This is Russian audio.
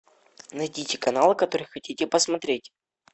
найдите канал который хотите посмотреть